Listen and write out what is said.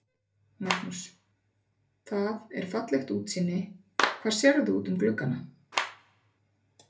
Magnús: Það er fallegt útsýni, hvað sérðu út um gluggana?